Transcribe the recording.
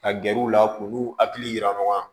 Ka gɛrɛ u la k'u hakili jira ɲɔgɔn na